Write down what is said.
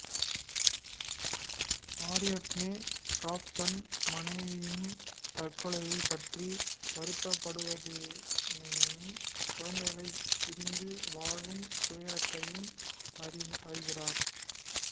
Ariadne காப் தன் மனைவியின் தற்கொலையினை பற்றி வருத்தப்படுவதினையும் குழந்தைகளை பிரிந்து வாழும் துயரத்தையும் அறிகிறார்